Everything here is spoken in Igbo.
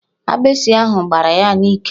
Agbịsị ahụ gbará ya n'íkè